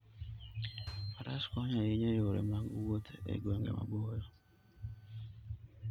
Faras konyo ahinya e yore mag wuoth e gwenge maboyo.